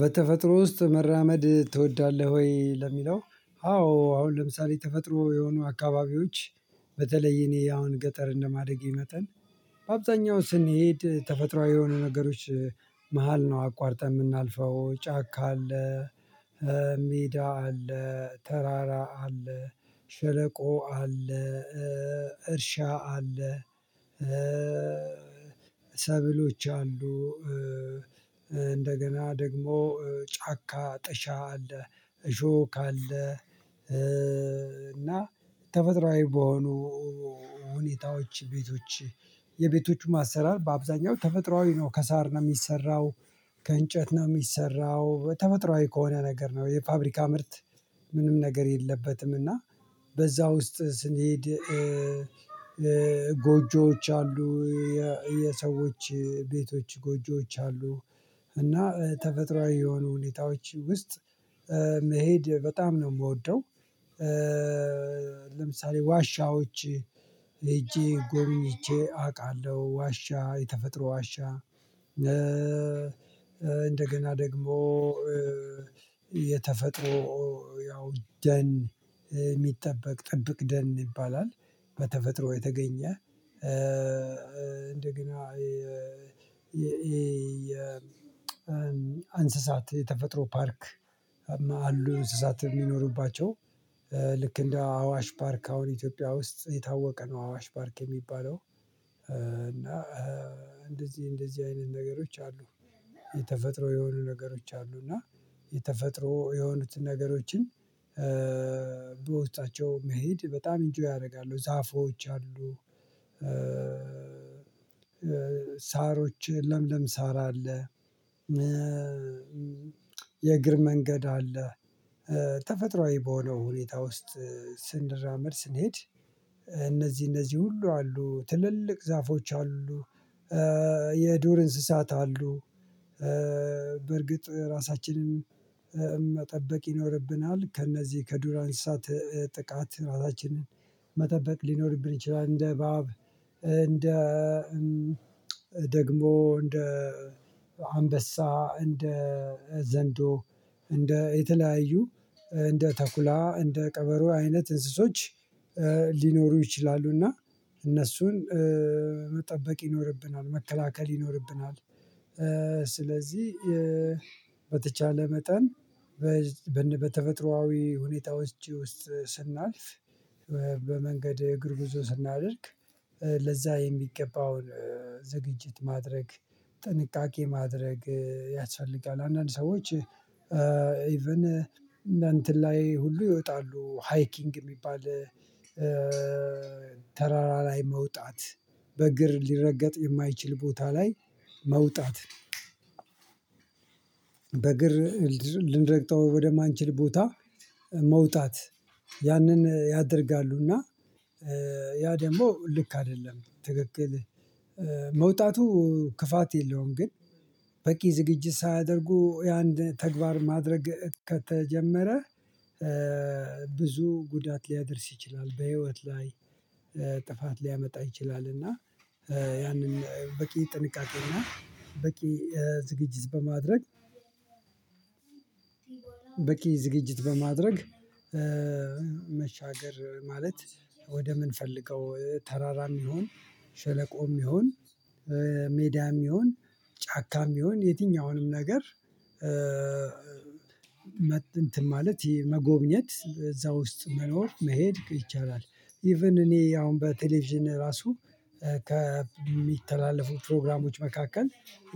በተፈጥሮ ውስጥ መራመድ ትወዳለህ ወይ ለሚለው አዎ አሁን ለምሳሌ ተፈጥሮ የሆኑ አካባቢዎች በተለይ እኔ አሁን ገጠር እንደማደጌ መጠን በአብዛኛው ስንሄድ ተፈጥሮአዊ የሆኑ ነገሮች መሃል ነው አቋርጠን እምናልፈው ጫካ አለ ሜዳ አለ ተራራ አለ ሸለቆ አለ እርሻ አለ ሰብሎች አሉ እንደገና ደግሞ ጫካ ጠሻ አለ እሾህ ካለ እና ተፈጥሮአዊ በሆኑ ሁኔታዎች ቤቶች የቤቶቹም አሰራር በአብዛኛው ተፈጥሮአዊ ነው ከሳር ነው እሚሰራው ከእንጨት ነው እሚሰራው በተፈጥሮአዊ ከሆነ ነገር ነው የፋብሪካ ምርት ምንም ነገር የለበትም እና በዛ ውስጥ ስንሄድ ጎጆዎች አሉ የሰዎች ቤቶች ጎጆዎች አሉ እና ተፈጥሮአዊ የሆኑ ሁኔታዎች ውስጥ መሄድ በጣም ነው እምወደው ለምሳሌ ዋሻዎች ሄጄ ጎብኝቼ አውቃለሁ ዋሻ የተፈጥሮ ዋሻ እንደገና ደግሞ የተፈጥሮ ያው ደን እሚጠበቅ ጥብቅ ደን ይባላል በተፈጥሮ የተገኘ እንደገና የ አንስሳት የተፈጥሮ ፓርክ አሉ አንስሳት የሚኖሩባቸው ልክ እንደ አዋሽ ፓርክ አሁን ኢትዮጵያ ውስጥ የታወቀ ነው አዋሽ ፓርክ የሚባለው እና እንደዚህ እንደዚህ አይነት ነገሮች አሉ የተፈጥሮ የሆኑ ነገሮች አሉ እና የተፈጥሮ የሆኑትን ነገሮችን በውስጣቸው መሄድ በጣም ኢንጆይ ያደርጋሉ ዛፎች አሉ ሳሮች ለምለም ሳር አለ የእግር መንገድ አለ ተፈጥሮአዊ በሆነው ሁኔታ ውስጥ ስንራመድ ስንሄድ እነዚህ እነዚህ ሁሉ አሉ ትልልቅ ዛፎች አሉ የዱር እንስሳት አሉ በርግጥ ራሳችንን መጠበቅ ይኖርብናል ከእነዚህ ከዱር አንስታት ጥቃት ራሳችንን መጠበቅ ሊኖርብን ይችላል እንደ እበብ እንደ ደግሞ እንደ አንበሳ እንደ ዘንዶ እንደ የተለያዩ እንደ ተኩላ እንደ ቀበሮ አይነት እንስሶች ሊኖሩ ይችላሉ እና እነሱን መጠበቅ ይኖርብናል መከላከል ይኖርብናል ስለዚህ በተቻለ መጠን በተፈጥሮአዊ ሁኔታ ውስጥ ስናልፍ በመንገድ እግር ብዙ ስናደርግ ለዛ የሚገባውን ዝግጅት ማድረግ ጥንቃቄ ማድረግ ያስፈልጋል አንዳንድ ሰዎች ኢቭን እንደ እንትን ላይ ሁሉ ይወጣሉ ሃይኪንግ እሚባል ተራራ ላይ መውጣት በእግር ሊረገጥ የማይችል ቦታ ላይ መውጣት በእግር ልንረግጠው ወደማንችል ቦታ መውጣት ያንን ያደርጋሉና ያ ደግሞ ልክ አይደለም ትክክል መውጣቱ ክፋት የለውም ግን በቂ ዝግጅት ሳያደርጉ የአንድ ተግባር ማድረግ ከተጀመረ ብዙ ጉዳት ሊያደርስ ይችላል በህይወት ላይ ጥፋት ሊያመጣ ይችላል እና ያንን በቂ ጥንቃቄ እና በቂ ዝግጅት በማድረግ ዝግጅትከ በማድረግ መሻገር ማለት ወደ እምን ፈልገው ተራራም ይሁን ሸለቆም ይሁን ሜዳም ይሁን ጫካም ይሁን የትኛውንም ነገር እንትን ማለት ይሄ መጎብኘት፣ እዛ ውስጥ መኖር፣ መሄድ ይቻላል። ኢቭን እኔ አሁን በቴሌቪዥን ራሱ ከሚተላለፉ ፕሮግራሞች መካከል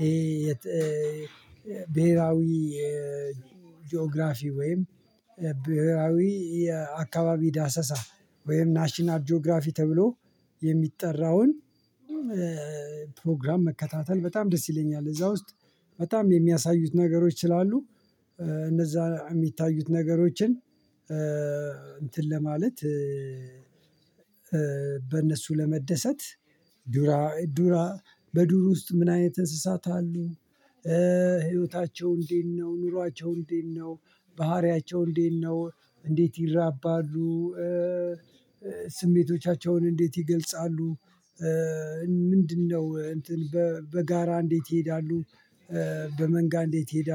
ይሄ ብሄራዊ ጂኦግራፊ ወይም ብሄራዊ የአካባቢ ዳሰሳ ወይም ናሽናል ጂኦግራፊ ተብሎ የሚጠራውን ፕሮግራም መከታተል በጣም ደስ ይለኛል። እዛ ውስጥ በጣም የሚያሳዩት ነገሮች ስላሉ እነዛ የሚታዩት ነገሮችን እንትን ለማለት በእነሱ ለመደሰት ዱራ፣ ዱራ፣ በዱር ውስጥ ምን አይነት እንስሳት አሉ? ህይወታቸው እንዴት ነው? ኑሯቸው እንዴት ነው? ባህሪያቸው እንዴት ነው? እንዴት ይራባሉ? ስሜቶቻቸውን እንዴት ይገልጻሉ? ምንድነው? እንትን፣ በጋራ እንዴት ይሄዳሉ? በመንጋ እንዴት ይሄዳሉ?